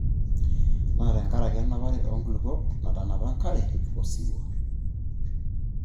Naa tenkaraki enapare oonkulupuok natanapa enkare osiwuo.